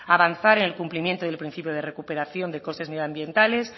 avanzar en el cumplimiento del principio de recuperación de costes medioambientales